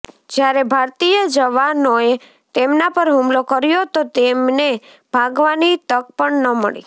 જ્યારે ભારતીય જવાનોએ તેમના પર હુમલો કર્યો તો તેમને ભાગવાની તક પણ ન મળી